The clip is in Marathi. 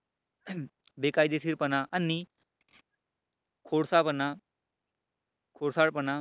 बेकायदेशीरपणा आणि खोडसाळपणा खोडसाळपणा